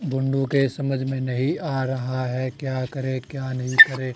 के समझ में नहीं आ रहा है क्या करे क्या नही करे?